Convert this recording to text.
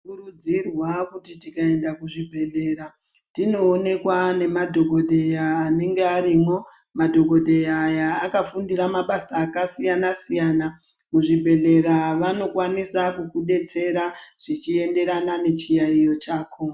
Tinokurudzirwaa kuti tikaensa kuzvibhedhlera tinoonekwa nemadhokodheya anenge arimo madhokodheya aya akafundira mabasa akasiyana siyana muzvibhedhleya vanokwanisa kukudetsera zvichienderana nechiyaeyo chako.